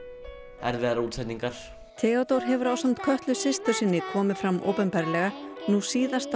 erfiðar útsetningar Theódór hefur ásamt Kötlu systur sinni komið fram opinberlega nú síðast á